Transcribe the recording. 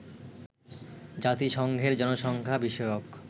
জাতিসংঘের জনসংখ্যা বিষয়ক